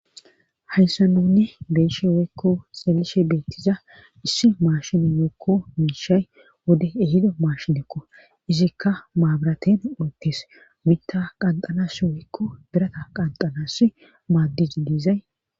Hayssa nunne beeshe woykko xelishe beettiza issi maashin yookko miishay wode ehido maashidekko izikka maabiraten oottees mitta qanxanas woykko birata qanxalas maaddiji diizay.